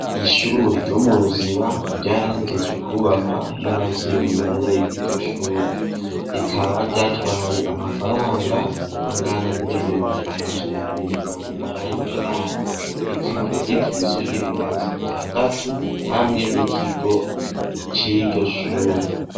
Ishure ryo mu Ruziba ryarahejeje kwubakwa n' abavyeyi barereye kw' iryo shuri rikaba ryatwaye amafaranga angana n' imiriyoni amajana abiri na mirongo umunani n' umunani rikaba rigizwe n' ibirasi bitandatu hamwe n' ikigo c' iryo shure.